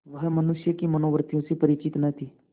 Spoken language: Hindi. वह मनुष्य की मनोवृत्तियों से परिचित न थी